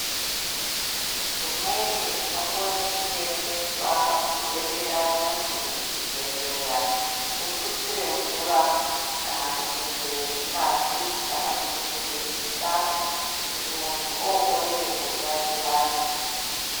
Zvimweni zvinokone kusenzeswa kudetsera muntu muchibhedhleya ,kututsire mvura, kana kututsire ngazi, kana kutsire chikafu kuti muntu oporere kudlya zviyana.